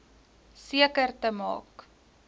seker te maak